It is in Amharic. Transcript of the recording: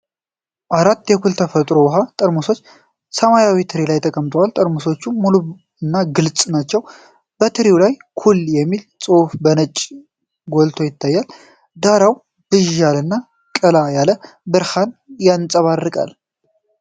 አራት የኩል የተፈጥሮ ውሃ ጠርሙሶች ሰማያዊ ትሪ ላይ ተቀምጠዋል። ጠርሙሶቹ ሙሉ እና ግልጽ ናቸው። በትሪው ላይ "ኩል" የሚል ጽሑፍ በነጭ ጎልቶ ይታያል። ዳራው ብዥ ያለና ቀላ ያለ ብርሃን ያንጸባርቃል።